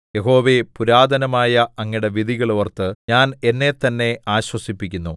യഹോവേ പുരാതനമായ അങ്ങയുടെ വിധികൾ ഓർത്ത് ഞാൻ എന്നെത്തന്നെ ആശ്വസിപ്പിക്കുന്നു